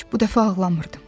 Bu dəfə ağlamırdım.